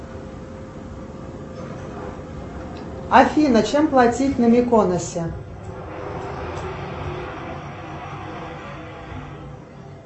афина чем платить на виконосе